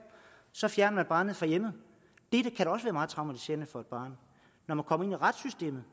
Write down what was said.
så fjerner man barnet fra hjemmet og meget traumatiserende for et barn når man kommer ind i retssystemet